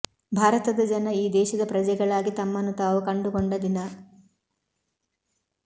ಭಾರತದ ಜನ ಈ ದೇಶದ ಪ್ರಜೆಗಳಾಗಿ ತಮ್ಮನ್ನು ತಾವು ಕಂಡುಕೊಂಡ ದಿನ